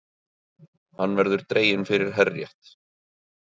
Hann verður dreginn fyrir herrétt